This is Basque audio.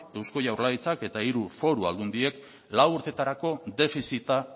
eusko jaurlaritzak eta hiru foru aldundiek lau urtetarako defizita